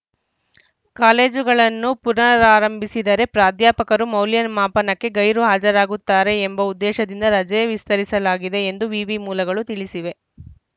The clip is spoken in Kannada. ಕಾಲೇಜುಗಳನ್ನು ಪುನಾರ್ರಂಭಿಸಿದರೆ ಪ್ರಾಧ್ಯಾಪಕರು ಮೌಲ್ಯಮಾಪನಕ್ಕೆ ಗೈರು ಹಾಜರಾಗುತ್ತಾರೆ ಎಂಬ ಉದ್ದೇಶದಿಂದ ರಜೆ ವಿಸ್ತರಿಸಲಾಗಿದೆ ಎಂದು ವಿವಿ ಮೂಲಗಳು ತಿಳಿಸಿವೆ